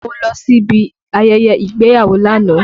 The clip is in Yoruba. Mo lọ sí ibi ayẹyẹ ìgbéyàwó lánàá